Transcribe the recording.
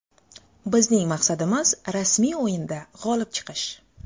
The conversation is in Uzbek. Bizning maqsadimiz rasmiy o‘yinda g‘olib chiqish.